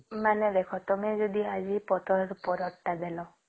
ମାନେ ଦେଖ ତମେ ଯଦି ଆଜି ପତର ର ପାରଦ ଟା ଦେଲ